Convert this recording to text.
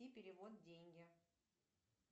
перевод деньги